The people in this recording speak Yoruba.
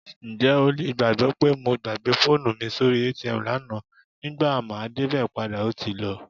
Ǹjẹ́ o lè gbàgbọ́ pé mo gbàgbé fóònù mi sórí ATM lánàá, nígbà máa débẹ̀ padà ó ti lọ?